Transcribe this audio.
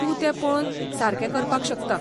तूं तें पळोवन सारकें करपाक शकता.